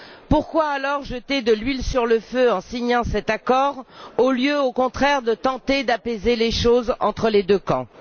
Pourquoi alors jeter de l'huile sur le feu en signant cet accord au lieu, au contraire, de tenter d'apaiser les choses entre les deux camps.